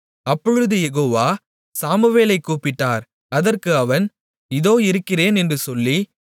அப்பொழுது யெகோவா சாமுவேலைக் கூப்பிட்டார் அதற்கு அவன் இதோ இருக்கிறேன் என்று சொல்லி